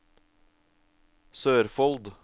Sørfold